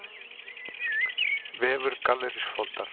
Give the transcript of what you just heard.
Vefur Gallerís Foldar